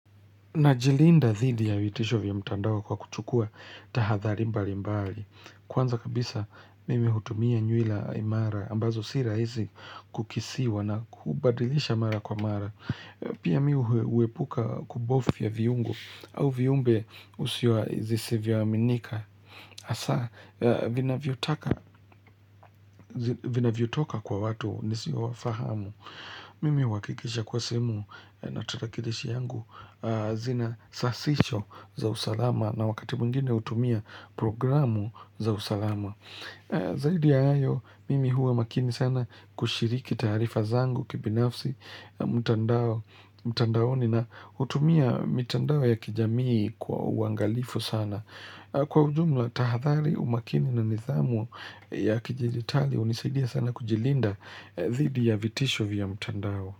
Najilinda dhidi ya vitisho vya mtandao kwa kucgukua tahadhari mbali mbali. Kwanza kabisa mimi hutumia nyuila imara ambazo sira hizi kukisiwa na kubadilisha mara kwa mara. Pia mi huepuka kubofya viungo au viumbe usiwa zisivyo aminika. Hasaa vinavyotoka kwa watu nisio wa fahamu. Mimi huakikisha kuwa sehemu na tarakilishi yangu zinasasisho za usalama na wakati mwingine hutumia programu za usalama. Zaidi ya hayo, mimi huwa makini sana kushiriki taarifa zangu kibinafsi, mtandaoni na hutumia mitandao ya kijamii kwa uangalifu sana. Kwa ujumla tahadhari umakini na nidhamu ya kidijitali hunisaidia sana kujilinda zidi ya vitisho vya mtandao.